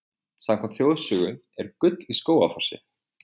Samkvæmt þjóðsögu er gull í Skógafossi.